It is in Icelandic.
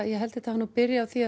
ég held þetta hafi byrjað á því